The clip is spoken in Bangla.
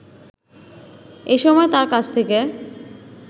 এসময় তার কাছ থেকে